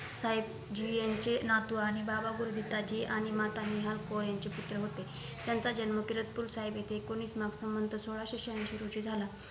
साहेब जी यांचे नातू आणि बाबा गुरुदित्त्ताजी आणि माता निहाल कौर यांचे पुत्र होते त्यांचा जन्म किरतपूर साहेब इथे एकोणीस नऊ संवंत सोळाशे शहाऐंशी रोजी झाला